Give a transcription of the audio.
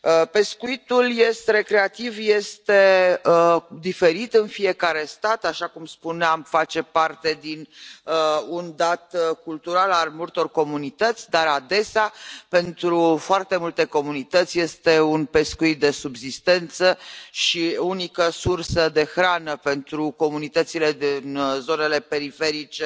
Pescuitul recreativ este diferit în fiecare stat, așa cum spuneam, face parte dintr un dat cultural al multor comunități, dar, adesea, pentru foarte multe comunități, este un pescuit de subzistență și unica sursă de hrană pentru comunitățile din zonele periferice